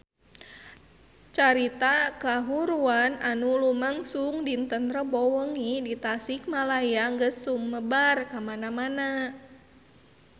Carita kahuruan anu lumangsung dinten Rebo wengi di Tasikmalaya geus sumebar kamana-mana